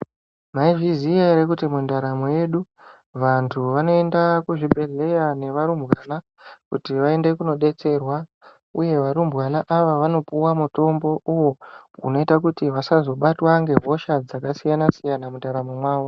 Maizviziva here kuti mundaramo yedu vantu vanoenda kuzvibhedhlera nevarumbwnaa kuti vaende kundodetserwa uye varumbwana ava vanopuwa mutombo uwo unoita kuti Vasazobatwa nehosha dzakasiyana siyana mundaramo mwawo.